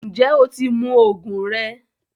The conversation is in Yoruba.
Njẹ o ti mú oogun rẹ?